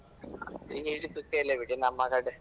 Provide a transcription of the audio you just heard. ಅದು ಹೇಳಿ ಸುಖ ಇಲ್ಲ ಬಿಡಿ ನಮ್ಮ ಕಡೆ.